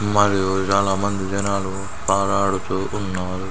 మరియు చాలా మంది జనాలు పరుడుతూ ఉన్నారు.